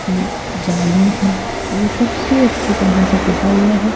इसमें जालियां हैं ये सबसे अच्छी तरह से पुता हुआ है।